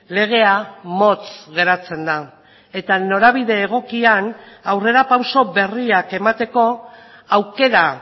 legea motz geratzen da eta norabide egokian aurrerapauso berriak emateko aukera